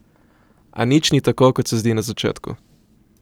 A nič ni tako, kot se zdi na začetku.